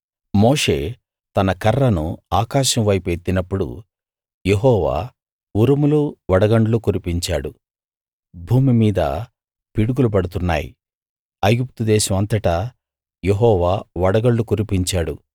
మోషే తన కర్రను ఆకాశం వైపు ఎత్తినప్పుడు యెహోవా ఉరుములు వడగండ్లు కురిపించాడు భూమి మీద పిడుగులు పడుతున్నాయి ఐగుప్తు దేశం అంతటా యెహోవా వడగళ్ళు కురిపించాడు